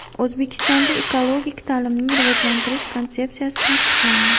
O‘zbekistonda Ekologik ta’limni rivojlantirish konsepsiyasi tasdiqlandi.